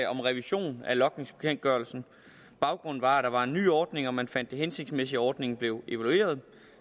om revision af logningsbekendtgørelsen baggrunden var at der var en ny ordning og man fandt det hensigtsmæssigt at ordningen blev evalueret